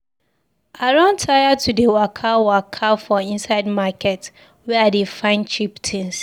I don tire to dey waka waka for inside market where I dey find cheap tins.